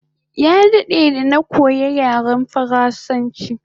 Ya dade da na koya yaren faransanchi